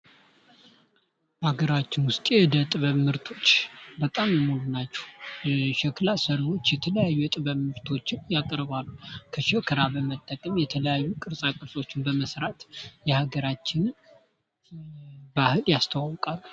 ሀገራችን ውስጥ የእደ ጥበብ ምርቶች በጣም የሞሉ ናቸው። የሸክላ ራ የተለያዩ የጥበብ ምርቶችን ያቀርባሉ። በመጠቀም የተለያዩ ቅርፃ ቅርፆችን በመስራት የሀገራችንን ባህል ያስተዋወቃሉ።